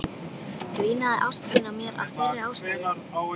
Dvínaði ást þín á mér af þeirri ástæðu?